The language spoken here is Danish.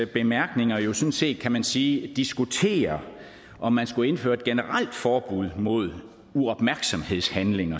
bemærkninger jo sådan set kan man sige diskuterer om man skulle indføre et generelt forbud mod uopmærksomhedshandlinger